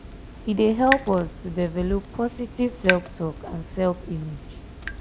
e dey help us to develop positive self-talk and self-image.